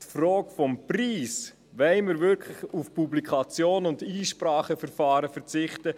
Die Frage des Preises – wollen wir wirklich auf die Publikation und Einspracheverfahren verzichten?